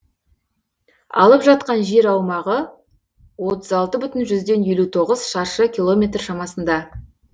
алып жатқан жер аумағы отыз алты бүтін жүзден елу тоғыз шаршы километр шамасында